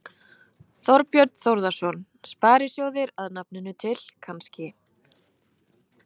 Þorbjörn Þórðarson: Sparisjóðir að nafninu til, kannski?